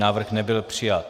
Návrh nebyl přijat.